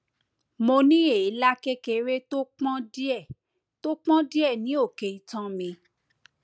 mo ní èélá kékeré tó pọn díẹ tó pọn díẹ ní òkè itan mi